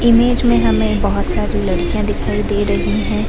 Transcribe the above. Image में हमें बहुत सारी लडकियाँ दिखाई दे रही हैं।